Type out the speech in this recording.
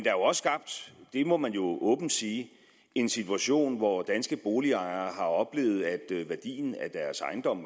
er også skabt det må man jo åbent sige en situation hvor danske boligejere mange har oplevet at værdien af deres ejendom